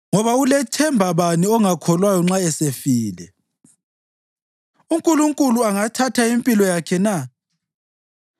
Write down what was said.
Ngoba ulethemba bani ongakholwayo nxa esefile, uNkulunkulu angathatha impilo yakhe na?